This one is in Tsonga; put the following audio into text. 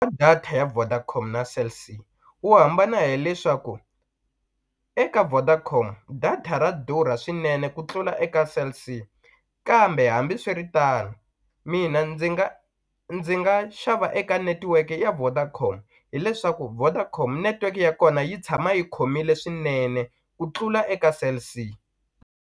Data ya Vodacom na Cell C wu hambana hileswaku eka Vodacom data ra durha swinene ku tlula eka Cell C kambe hambiswiritano mina ndzi nga ndzi nga xava eka netiweke ya Vodacom hileswaku Vodacom network ya kona yi tshama yi khomile swinene ku tlula eka Cell C.